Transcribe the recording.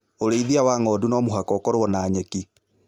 Ũrĩithia wa ng'ondu no mũhaka ũkorwo na nyeki